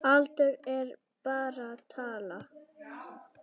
Aldur er bara tala.